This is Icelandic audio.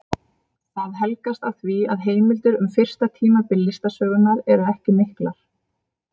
Það helgast af því að heimildir um fyrsta tímabil listasögunnar eru ekki miklar.